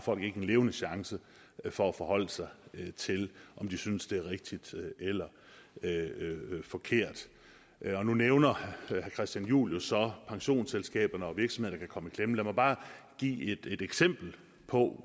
folk ikke en levende chance for at forholde sig til om de synes det er rigtigt eller forkert nu nævner herre christian juhl så pensionsselskaberne og virksomheder der kan komme i klemme lad mig bare give et eksempel på